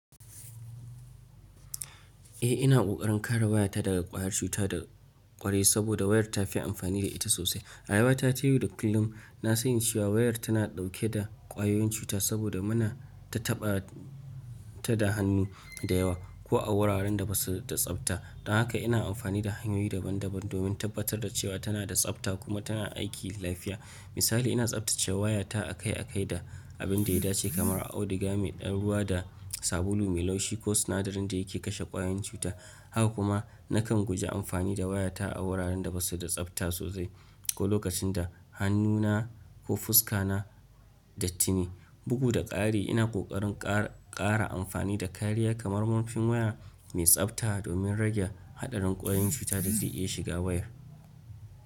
Eh ina ƙoƙarin kare wayata daga ƙwayar cuta da ƙwarai saboda wayar ta fi amfani da ita sosai. Rayuwa ta yau da kullum na sani cewa wayar tana ɗauke da ƙwayoyin cuta saboda muna ta taɓa ta da hannu da yawa ko a wuraren da ba su da tsabta. Don haka ina amfani da hanyoyi daban-daban domin tabbatar da cewa tana da tsabta kuma tana aiki lafiya. Misali, ina tsabtace wayata akai-akai da abin da ya dace kamar auduga mai ɗan ruwa da sabulu mai laushi ko sinadarin da yake kashe ƙwayoyin cuta. Haka kuma nakan guji amfani da wayata a wuraren da ba su da tsabta sosai ko lokacin da hannuna ko fuska na daitine. Bugu da ƙari, ina ƙoƙarin ƙara ƙara amfani da kariya kamar murfin waya mai tsabta domin rage haɗarin ƙwayoyin cuta da zai iya shiga wayar.